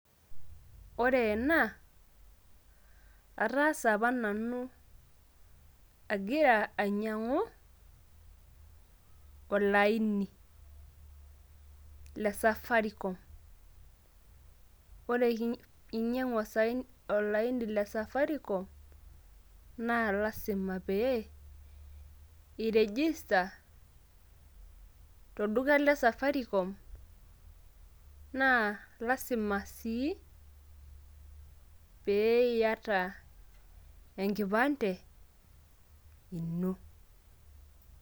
ore ena ataasa apa nanu agira ainyiang'u olaini.le safaricom, ore pee inyiang'u olaini le safaricom naa lasima pee iregister tolduka le safaricom naa lasima sii pee iyata enkipande ino.